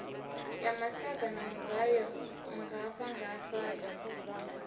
ya masaga a mugayo nngafhaḽangafhaḽa